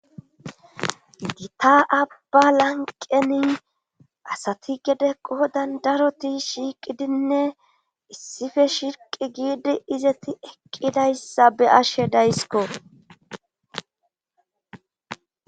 dita abba lanqeni asati gede qo dandaroti shiiqidinne issife shirqi giidi izeti eqqidayssa be ashe daysiko